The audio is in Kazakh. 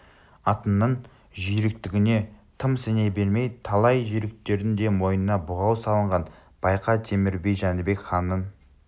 атыңның жүйріктігіне тым сене берме талай жүйріктердің де мойнына бұғау салынған байқа темір би жәнібек ханның